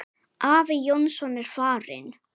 Afi Jónsson er farinn.